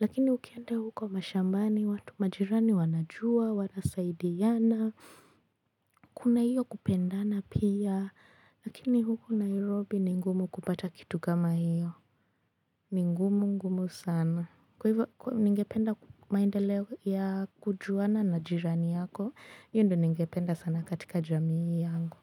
Lakini ukienda huko mashambani, watu majirani wanajua, wanasaidiana, kuna hiyo kupendana pia. Lakini huku Nairobi ni ngumu kupata kitu kama hiyo. Ni ngumu, ngumu sana. Kwa hivyo ningependa maendeleo ya kujuana na jirani yako, hiyo ndiyo ningependa sana katika jamii yangu.